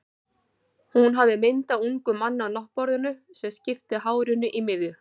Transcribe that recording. Hún hafði mynd af ungum manni á náttborðinu, sem skipti hárinu í miðju.